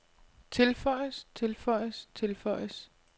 tilføjes tilføjes tilføjes